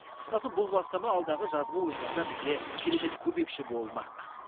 қысқасы бұл бастама алдағы жазғы ойындарда бізге керемет көмекші болмақ